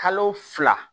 Kalo fila